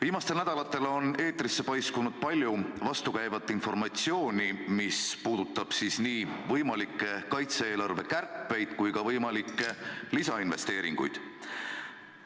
Viimastel nädalatel on eetrisse paiskunud palju vastukäivat informatsiooni, mis puudutab nii võimalikke kaitse-eelarve kärpeid kui ka võimalikke lisainvesteeringuid.